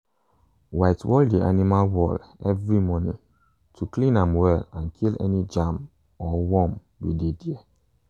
whitewall the animal wall every morning to clean am well and kill any germ or worm wey dey there.